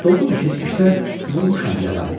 Doğrudur, keçmişdə vurmuşam yara.